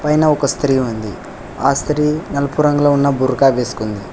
పైన ఒక స్త్రీ ఉంది ఆ స్త్రీ నలుపు రంగులో ఉన్న బుర్కా వేసుకుంది.